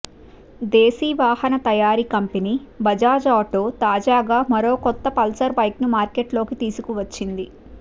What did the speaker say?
దేశీ వాహన తయారీ company Bajaj auto తాజాగా మరో కొత్త పల్సర్ బైక్ను మార్కెట్లోకి తీసుకువచ్చింది